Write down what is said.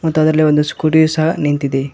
ಮತ್ತು ಆದಲ್ಲಿ ಒಂದು ಸ್ಕೂಟಿ ಸಹ ನಿಂತಿದೆ.